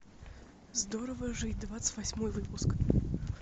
здорово жить двадцать восьмой выпуск